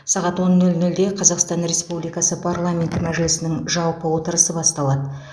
сағат он нөл нөлде қазақстан республикасы парламенті мәжілісінің жалпы отырысы басталады